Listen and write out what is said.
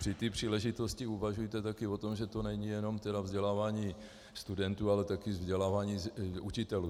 Při té příležitosti uvažujte také o tom, že to není jenom vzdělávání studentů, ale také vzdělávání učitelů.